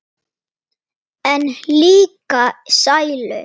En líka sælu.